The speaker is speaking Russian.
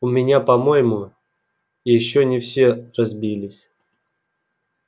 у меня по моему ещё не все разбились